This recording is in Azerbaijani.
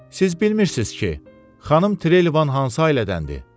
Siz bilmirsiz ki, xanım Trelevan hansı ailədəndir?